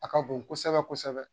A ka bon kosɛbɛ kosɛbɛ